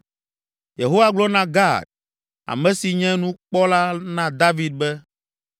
Yehowa gblɔ na Gad, ame si nye nukpɔla na David be,